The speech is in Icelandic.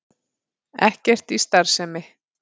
Ekkert í starfsemi